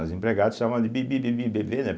As empregados chamavam de Bibi, Bibi, Bebê, né?